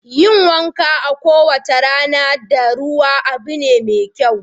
Yin wanka kowace rana da ruwa abu ne mai kyau.